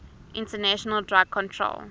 international drug control